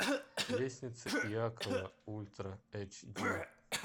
лестница иакова ультра эйч ди